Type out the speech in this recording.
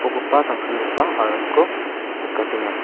tangsimgipa aramko nikatenga.